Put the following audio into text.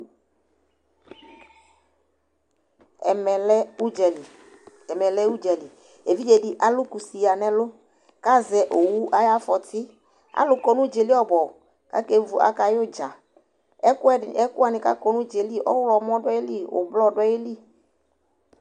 Ɛmɛ lɛ ʋdzali, ɛmɛlɛ ʋdzali, evidzedɩ alʋ kusi yǝ n'ɛlʋ , k'azɛ owu ay 'afɔtɩ Alʋ kɔ n'ʋdzaɛ li ɔbʋɔbʋ k'akevu , akay'ʋdza; ɛkʋɛ dɩ , ɛkʋwanɩ k'akɔ n'ʋdzaɛ li : ɔɣlɔmọ dʋ ayili , ʋblɔ dʋ ayili